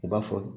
U b'a fɔ